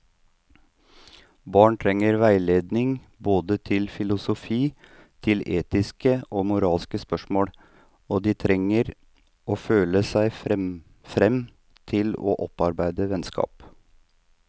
Barn trenger veiledning både til filosofi, til etiske og moralske spørsmål, og de trenger å føle seg frem til å opparbeide vennskap.